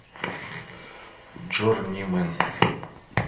джорнимен